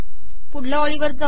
पुढचया ओळीवर जाऊ